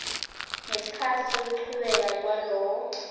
ngesikhatsi sekuchubeka kwalowo